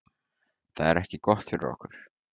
Það er ekki gott fyrir okkur